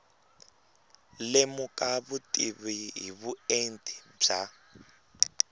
lemuka vutivi hi vuenti bya